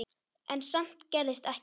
En samt gerðist ekkert.